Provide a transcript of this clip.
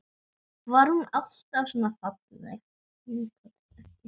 Var hún alltaf svona falleg?